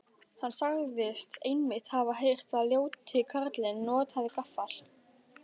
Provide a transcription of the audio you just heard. Hann sagðist einmitt hafa heyrt að ljóti karlinn notaði gaffla.